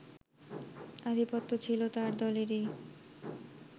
আধিপত্য ছিল তার দলেরই